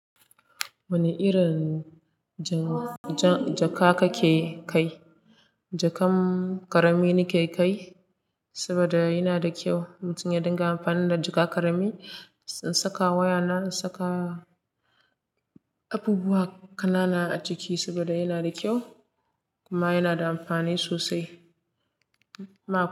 Wane irin jaka kake kai? Jakan ƙarami nake kai saboda yana da kyau. Mutum ya dinga amfani da jaka ƙarami. In saka wayana, in saka abubuwa ƙanana a ciki saboda yana da kyau kuma yana da amfani sosai.